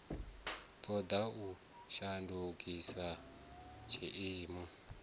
ṱo ḓa u shandukisa tshiimo